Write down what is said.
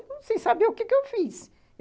Não sei saber o que eu fiz.